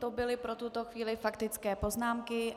To byly pro tuto chvíli faktické poznámky.